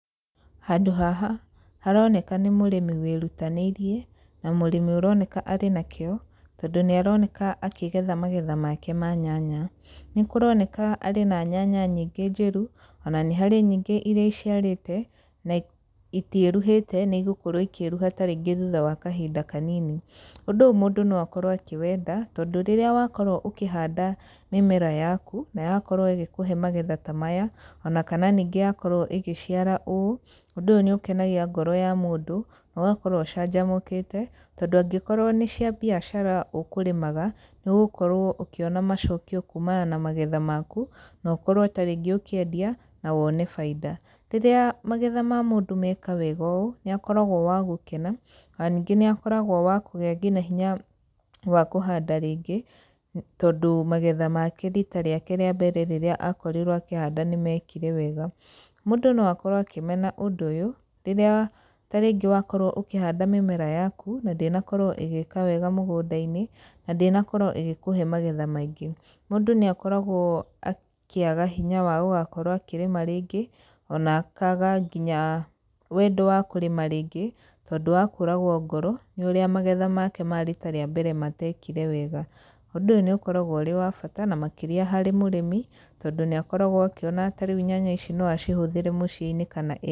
Handũ haha, haroneka nĩ mũrĩmi wĩrutanĩirie, na mũrĩmi ũroneka arĩ na kĩo, tondũ nĩ aroneka akĩgetha magetha make ma nyanya. Nĩ kũroneka arĩ na nyanya nyingĩ njĩru, ona nĩ harĩ nyingĩ irĩa iciarĩte, na itiĩruhĩte, nĩ gũkorwo ikĩruha tarĩngĩ thutha wa kahinda kanini. Ũndũ ũyũ mũndũ no akorwo akĩwenda, tondũ rĩrĩa wakorwo ũkĩhanda mĩmera yaku, na yakorwo ĩgĩkũhe magetha ta maya, ona kana ningĩ yakorwo ĩgĩciara ũũ, ũndũ ũyũ nĩ ũkenagia ngoro ya mũndũ, na ũgakorwo ũcanjamũkĩte. Tondũ angĩkorwo nĩ cia biacara ũkũrĩmaga, nĩ ũgũkorwo ũkĩona macokio kumana na magetha maku, na ũkorwo tarĩngĩ ũkĩendia, na wone baida. Rĩrĩa magetha ma mũndũ meka wega ũũ, nĩ akoragwo wa gũkena, ona ningĩ nĩ akoragwo wa kũgĩa ngina hinya wa kũhanda rĩngĩ, tondũ magetha make riita rĩake rĩa mbere rĩrĩa akorirwo akĩhanda nĩ mekire wega. Mũndũ no akorwo akĩmena ũndũ ũyũ, rĩrĩa tarĩngĩ wakorwo ũkĩhanda mĩmera yaku, na ndĩnakorwo ĩgĩka wega mũgũnda-inĩ, na ndĩnakorwo ĩgĩkũhe magetha maingĩ. Mũndũ nĩ akoragwo akĩaga hinya wa gũgakorwo akĩrĩma rĩngĩ, ona akaaga nginya wendo wa kũrĩma rĩngĩ, tondũ wa kũragwo ngoro, nĩ ũrĩa magetha make ma riita rĩa mbere matekire wega. Ũndũ ũyũ nĩ ũkoragwo ũrĩ wa bata, na makĩrĩa harĩ mũrĩmi, tondũ nĩ akoragwo akĩona ta rĩu nyanya ici no acihũthĩre mũciĩ-inĩ kana.